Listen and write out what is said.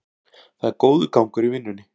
Það er góður gangur í vinnunni